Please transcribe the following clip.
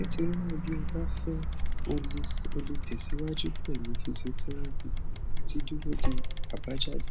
nítorí náà bí o bá fẹ o lè tẹsíwájú pẹlú fíṣíọtẹrápì àti dúró de àbájáde